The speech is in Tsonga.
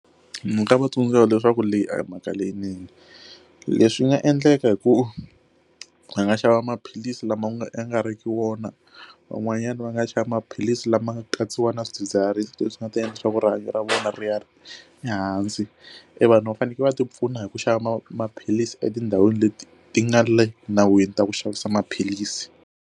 Ni nga va tsundzuxa leswaku leyi a hi mhaka leyinene leswi nga endleka hi ku hi nga xava maphilisi lama nga e nga riki wona van'wanyana va nga shava maphilisi lama nga ka yisiwa na swidzidziharisi leswi nga ta endla leswaku rihanyo ra vona ri ya ri ehansi i vanhu va fanekele va ti pfuna hi ku xava maphilisi etindhawini leti ti nga le nawini ta ku xavisa maphilisi.